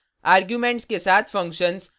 arguments के साथ functions